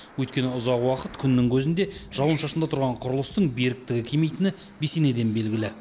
өйткені ұзақ уақыт күннің көзінде жауын шашында тұрған құрылыстың беріктігі кемитіні бесенеден белгілі